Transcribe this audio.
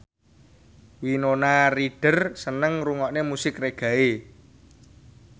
Winona Ryder seneng ngrungokne musik reggae